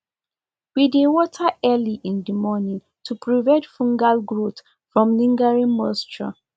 we dey water early in the morning to prevent fungal growth from lingering moisture